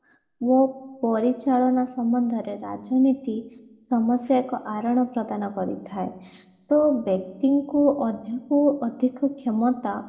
ଓ ପରିଚାଳନା ସମ୍ବନ୍ଧରେ ରାଜନୀତି ସମସ୍ଯା ଏକ କାରଣ ପ୍ରଦାନ କରି ଥାଏ ତ ବ୍ୟକ୍ତିଙ୍କୁ ଅଧିକୁ ଅଧିକ କ୍ଷମତା